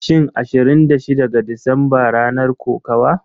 Shin Ashirin da shida ga Disamba ranar kokawa?